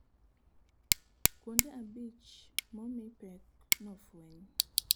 Kuonde abich momii pek nofuenyi